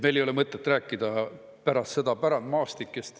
Meil ei ole mõtet rääkida pärast seda pärandmaastikest.